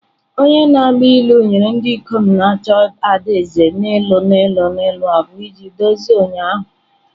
Onye na-agba ilu nyere ndị ikom na-achọ ada eze n'ịlụ ilu ilu abụọ iji dozie ụnyaahụ.